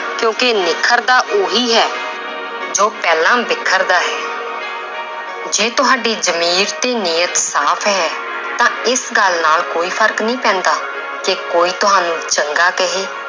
ਕਿਉਂਕਿ ਨਿਖਰਦਾ ਉਹੀ ਹੈ ਜੋ ਪਹਿਲਾਂ ਬਿਖਰਦਾ ਹੈ ਜੇ ਤੁਹਾਡੀ ਜ਼ਮੀਰ ਤੇ ਨੀਯਤ ਸਾਫ਼ ਹੈ ਤਾਂ ਇਸ ਗੱਲ ਨਾਲ ਕੋਈ ਫ਼ਰਕ ਨਹੀਂ ਪੈਂਦਾ ਕਿ ਕੋਈ ਤੁਹਾਨੂੰ ਚੰਗਾ ਕਹੇ